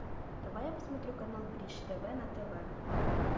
давай я посмотрю канал бридж тв на тв